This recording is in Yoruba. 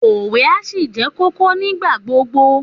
Òwe á ṣì ṣe kókó nígbà gbogbo